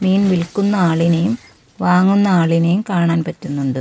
മീൻ വിൽക്കുന്ന ആളിനെയും വാങ്ങുന്ന ആളിനെയും കാണാൻ പറ്റുന്നുണ്ട്.